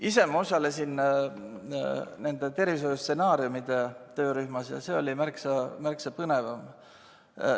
Ise ma osalesin nende tervishoiustsenaariumide töörühmas ja see oli märksa põnevam.